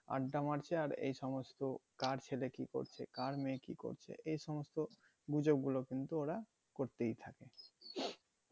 আড্ডা মারছে আর এ সমস্ত কার ছেলে কি করছে কার মেয়ে কি করছে এ সমস্ত গুজব গুলো কিন্তু ওরা করতেই থাকে